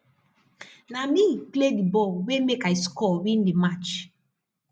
na me play di ball wey make i school win di match